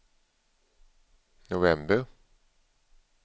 november